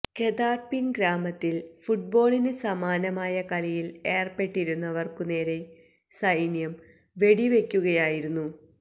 ഗ ദാര് പിന് ഗ്രാമത്തില് ഫുട്ബോളിന് സമാനമായ കളിയില് ഏര്പ്പെട്ടിരുന്നവര്ക്കുനേരെ സൈന്യം വെടിവെക്കുകയായിരുന്നു